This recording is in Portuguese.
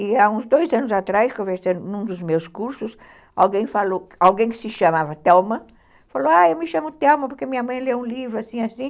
E há uns dois anos atrás, conversando em um dos meus cursos, alguém que se chamava Thelma falou, ah, eu me chamo Thelma porque minha mãe lê um livro, assim, assim.